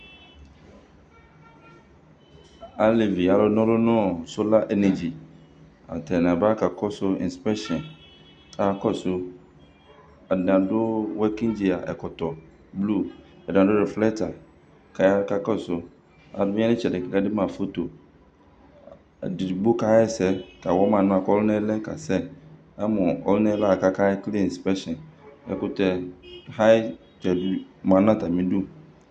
alevi alu n'ɔlu no sola enegi atani aba ka kɔsu inspɛkshin aka kɔsu atani adu wɛkin dzia ɛkɔtɔ blu atani adu riflɛkta k'aya k'aka kɔsu alu ya n'itsɛdi k'ake de ma foto edigbo ka ɣa ɛsɛ ka wama anɛ k'ɔluna yɛ lɛ ka sɛ amo ɔluna li la k'ake kele inspɛkshin ɛkutɛ hayi tɛ bi ma n'atami du.